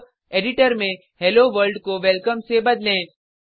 अब एडिटर में hello world को वेलकम से बदलें